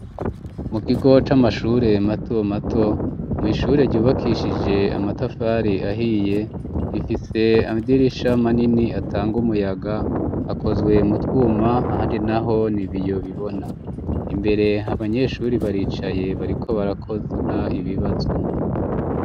Mu kigo c'amashure mato mato, mu ishure ryubakishije amatafari ahiye ,rifise amidirisha manini atanga umuyaga, akozwe mutwuma ahandi naho nibiyo bibona ,imbere abanyeshuri baricaye, bariko barakora ibibazo.